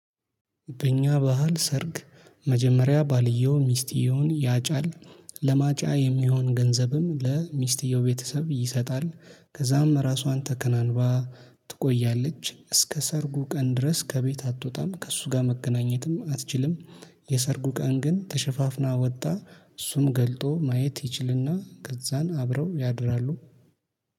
በእኛ ባህል ሰርግ መጀመሪያ ባልየው ሚስትየውን ያጫል። ለማጫ የሚሆን ገንዘብም ለሚስትየው ቤተሰብ ይሰጣል። ከዛም ራሷን ተከናንባ ትቆያለች እስከ ሰርጉ ቀን ድረስ ከቤት አትወጣም ከእሱ ጋር መገናኘትም አትችልም። የሰርጉ ቀን ግን ተሸፋፍና ወጣ እሱም ገልጦ ማየት ይችልና ገዛን አብረው ያድራሉ